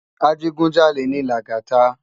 Ajigúnjálé ni Lagata